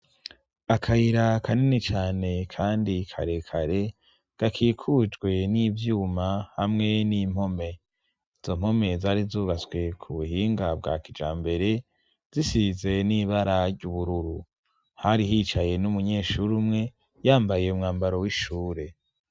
Aakayira kanini cane kandi karekare gakikujwe n'ivyuma hamwe n'impome. Izo mpome zari zubatswe ku buhinga bwa kijambere zisize n'ibara ry'ubururu. Hari hicaye n'umunyeshuri umwe yambaye umwambaro w'ishure.